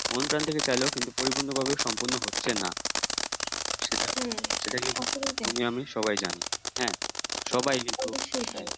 মন প্রান থেকে চাইলেও কিন্তু পরিপূর্ণ ভাবে সম্পূর্ণ হচ্ছে না সেটা তুমি আমি সবাই জানি হ্যাঁ সবাই কিন্তু